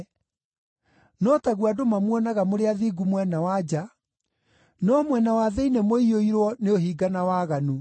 No taguo andũ mamuonaga mũrĩ athingu mwena wa nja, no mwena wa thĩinĩ mũiyũirwo nĩ ũhinga na waganu.